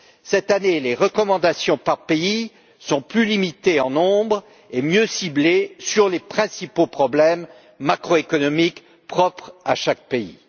Cette année, les recommandations par pays sont plus limitées en nombre et mieux ciblées sur les principaux problèmes macroéconomiques propres à chaque pays.